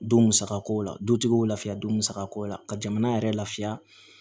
Don musaka ko la dutigiw lafiya don musako la ka jamana yɛrɛ lafiya